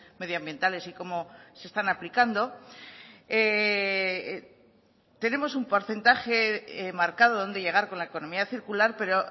medioambientales y cómo se están aplicando tenemos un porcentaje marcado donde llegar con la economía circular pero